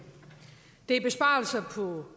det er besparelser